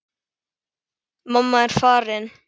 Mamma er farin.